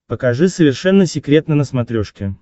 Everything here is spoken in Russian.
покажи совершенно секретно на смотрешке